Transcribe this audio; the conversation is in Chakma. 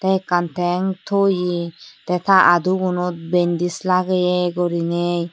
te ekkan teng toye te ta udugunot bendis lageye guriney.